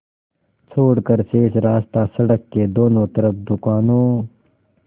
छोड़कर शेष रास्ता सड़क के दोनों तरफ़ दुकानों